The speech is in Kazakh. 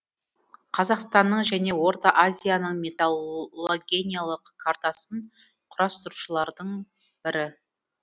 қазақстанның және орта азияның металлогениялық картасын құрастырушылардың бірі